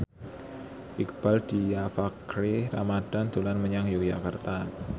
Iqbaal Dhiafakhri Ramadhan dolan menyang Yogyakarta